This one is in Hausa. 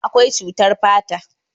akwai cutar fata